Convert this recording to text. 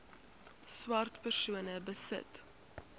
swart persone besit